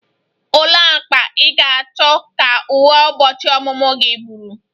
Olee agba ị ga-achọ ka uwe ụbọchị ọmụmụ gị bụrụ?